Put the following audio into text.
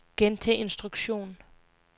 gentag instruktion